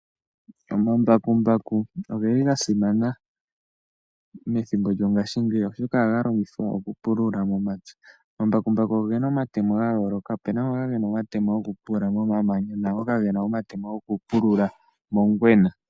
Omambakumbaku oge li ga simana methimbo lyongaashingeyi oshoka ohaga longithwa oku pulula momapya. Omambakumbaku oge na omatemo gayooloka. Ope na ngoka ge na omatemo goku pulula momamanya naangoka goku pulula mongwena.